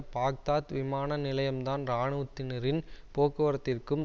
Baghdad விமான நிலையம் தான் இராணுவத்தினரின் போக்குவரத்திற்கும்